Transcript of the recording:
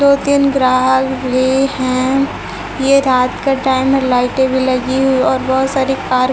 दो तीन ग्राहक भी हैं ये रात का टाइम है लाइटें भी लगी हुई और बहुत सारी कार --